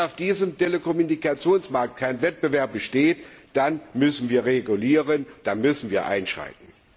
Aber wenn auf diesem Telekommunikationsmarkt kein Wettbewerb besteht, dann müssen wir regulieren, dann müssen wir einschreiten.